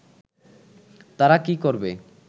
তারা কি করবে